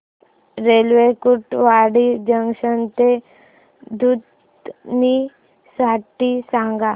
railway Kurduwadi junction ते दुधनी साठी सांगा